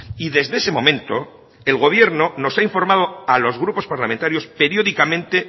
y desde ese momento el gobierno nos ha informado a los grupos parlamentarios periódicamente